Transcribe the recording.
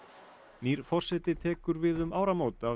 nýr forseti tekur við um áramót af